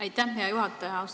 Aitäh, hea juhataja!